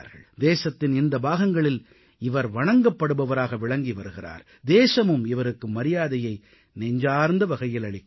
தேசத்தின் இந்த பாகங்களில் இவர் வணங்கப்படுபவராக விளங்கி வருகிறார் தேசமும் இவருக்கு மரியாதையை நெஞ்சார்ந்த வகையில் அளிக்கிறது